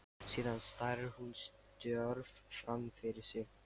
Síðan starir hún stjörf fram fyrir sig.